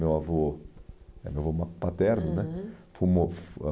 Meu avô é meu avô ma paterno, né? Uhum.